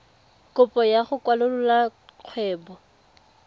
kopo ya go kwalolola kgwebo